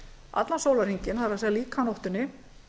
allan sólarhringinn það er líka á nóttunni